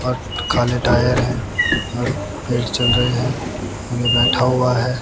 खाली टायर है और चल रही है आदमी बैठा हुआ है।